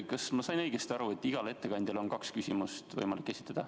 Kas ma sain õigesti aru, et igale ettekandjale on võimalik kaks küsimust esitada?